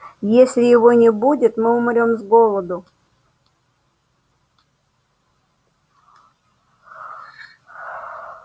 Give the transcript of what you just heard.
если его не будет мы умрём с голоду